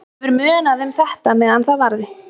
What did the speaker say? Hefur munað um þetta meðan það varði.